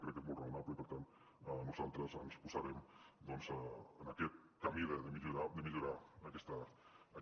crec que és molt raonable i per tant nosaltres ens posarem doncs en aquest camí de millorar aquesta llei